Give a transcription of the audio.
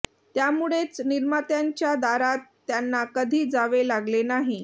त्यामुळेच निर्मात्यांच्या दारात त्यांना कधी जावे लागले नाही